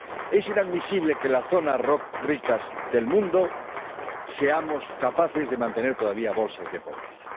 Es inadmisible que las zonas ricas del mundo seamos capaces de mantener todavía bolsas de pobreza.